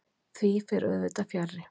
Því fer auðvitað fjarri.